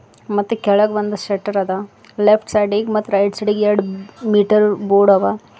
ಮತ್ತೆ ಕೆಳಗ್ ಬಂದ ಶೆಟ್ಟರ್ ಅದ ಲೆಫ್ಟ್ ಸೈಡಿಗ್ ಮತ್ ರೈಟ್ ಸೈಡಿಗ್ ಎರಡ್ ಮೀಟರ್ ಬೋರ್ಡ್ ಅವ.